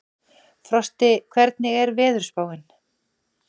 Frosti, hvernig er veðurspáin?